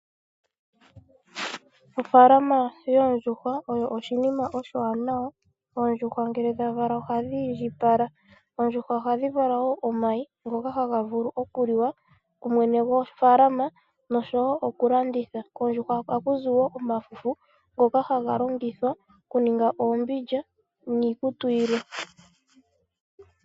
Oofalama yoondjuhwa oyo oshinima oshiwanawa. Oondjuhwa ngele dha vala ohadhi iindjipaka , oondjuhwa ohadhi vala wo omayi ngoka haga vulu oku liwa ku mwene go falama nosho wo oku landitha, koondjuhwa ohaku zi wo omafufu ngoka haga longithwa oku ninga oombindja niikutu yilwe.